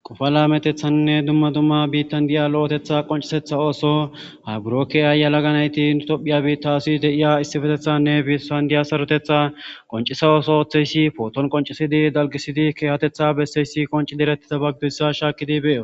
Qoffa lametethanine duma duma bitani deyiya lo'otetha qocisetha osso ha buro keyiya yalagga nayiti nu tophiya bittasi deyiya isipetethani besani diya sarotetha qoncisa osso otheyisi potoni qoncisidi aligisid kehatetha beseyisi qonciddi eretidaba gideyisa shakidi beyosi